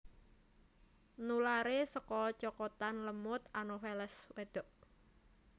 Nularé saka cokotan lemut Anopheles wédok